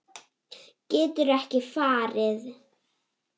Geturðu ekki farið?